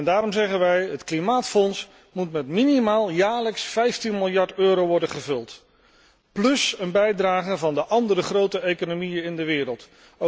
Daarom zeggen wij dat het klimaatfonds met minimaal jaarlijks 15 miljard euro moet worden gevuld, plus een bijdrage van de andere grote economieën in de wereld.